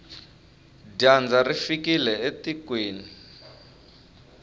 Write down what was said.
dyandza ri fikile etikweni